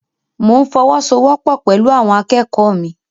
Mo n fọwọ́sowọ́po pẹlú àwọn akẹ́kọ̀ọ́ mi.